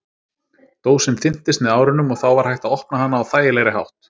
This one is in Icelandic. Dósin þynntist með árunum og þá var hægt að opna hana á þægilegri hátt.